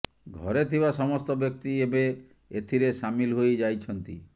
ଘରେ ଥିବା ସମସ୍ତ ବ୍ୟକ୍ତି ଏବେ ଏଥିରେ ସାମିଲ ହୋଇ ଯାଇଛନ୍ତି